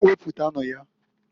Wepụtanu ya.